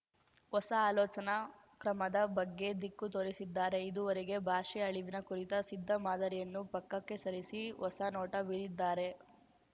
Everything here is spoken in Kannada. ಹೊಸ ಆಲೋಚನಾ ಕ್ರಮದ ಬಗ್ಗೆ ದಿಕ್ಕು ತೋರಿಸಿದ್ದಾರೆ ಇದುವರೆಗೆ ಭಾಷೆ ಅಳಿವಿನ ಕುರಿತ ಸಿದ್ಧ ಮಾದರಿಯನ್ನು ಪಕ್ಕಕ್ಕೆ ಸರಿಸಿ ಹೊಸ ನೋಟ ಬೀರಿದ್ದಾರೆ